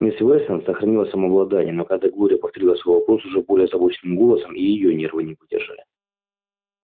мисс вестон сохранила самообладание но когда глория повторила свой вопрос уже более озабоченным голосом и её нервы не выдержали